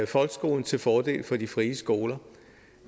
folkeskolen til fordel for de frie skoler